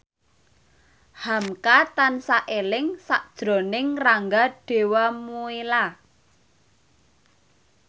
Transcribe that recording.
hamka tansah eling sakjroning Rangga Dewamoela